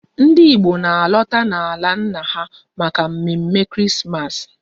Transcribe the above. Ndị Igbo na alota n'ala nna ha maka mme mme Krismas